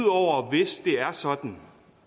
hvis det er sådan